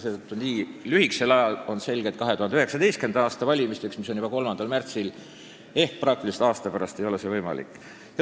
Seetõttu on selge, et nii lühikese ajaga, mis on jäänud 2019. aasta valimisteni, mis on juba 3. märtsil ehk praktiliselt aasta pärast, ei ole suured, põhimõttelised muudatused võimalikud.